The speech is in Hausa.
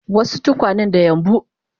wasu tukwanen da yambu